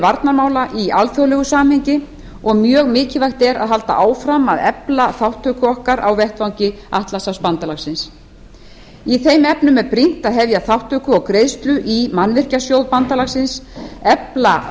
varnarmála í alþjóðlegu samhengi og mjög mikilvægt er að halda áfram að efla þátttöku okkar á vettvangi atlantshafsbandalagsins í þeim efnum er brýnt að hefja þátttöku og greiðslu í mannvirkjasjóð bandalagsins efla